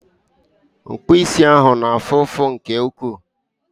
Mkpụ isi ahụ na-afụ ụfụ nke ukwuu